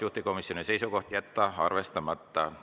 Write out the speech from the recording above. Juhtivkomisjoni seisukoht on jätta arvestamata.